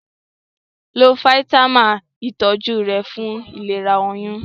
Lo fáítámà ìtọjú rẹ fún ìlera oyún